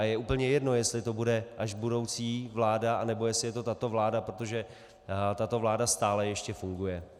A je úplně jedno, jestli to bude až budoucí vláda, anebo jestli je to tato vláda, protože tato vláda stále ještě funguje.